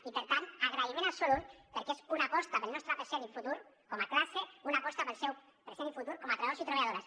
i per tant agraïment absolut perquè és una aposta pel nostre present i futur com a classe una aposta pel seu present i futur com a treballadors i treballadores